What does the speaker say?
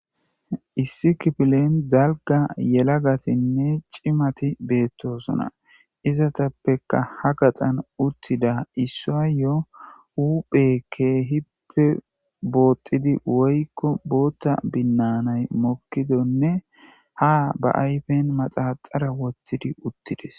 issi kipilen dalga yelagatinne cimati beettosona izatappeka ha gaxan uttida issayayyo huphekke hippe boottidi woykko bootta binnanay mokkidonne ha ba ayfen maxaxara wottidi uttides